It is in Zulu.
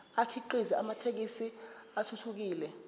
akhiqize amathekisthi athuthukile